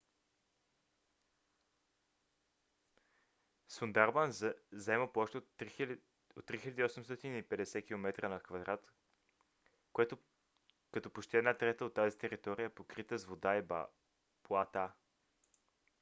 сундарбан заема площ от 3850 km² като почти една трета от тази територия е покрита с вода и блата